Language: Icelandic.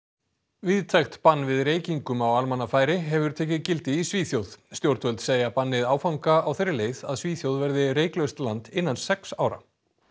víðtækt bann við reykingum á almannafæri hefur tekið gildi í Svíþjóð stjórnvöld segja bannið áfanga á þeirri leið að Svíþjóð verði reyklaust land innan sex ára